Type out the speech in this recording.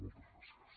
moltes gràcies